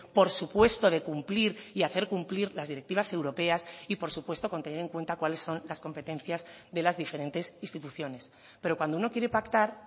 por supuesto de cumplir y hacer cumplir las directivas europeas y por supuesto con tener en cuenta cuáles son las competencias de las diferentes instituciones pero cuando uno quiere pactar